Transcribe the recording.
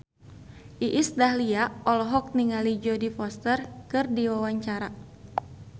Iis Dahlia olohok ningali Jodie Foster keur diwawancara